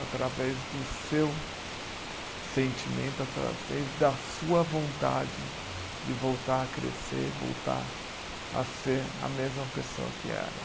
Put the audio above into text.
Através do seu sentimento, através da sua vontade de voltar a crescer, voltar a ser a mesma pessoa que era.